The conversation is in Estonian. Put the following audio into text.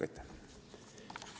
Aitäh!